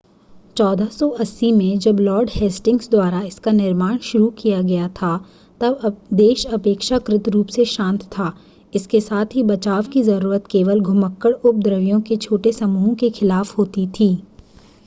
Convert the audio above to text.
1480 में जब lord Hastings द्वारा इसका निर्माण शुरू किया गया था तब देश अपेक्षाकृत रूप से शांत था इसके साथ ही बचाव की ज़रूरत केवल घुमक्कड़ उपद्रवियों के छोटे समूहों के खिलाफ़ होती थी